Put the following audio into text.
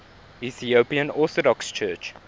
ethiopian orthodox church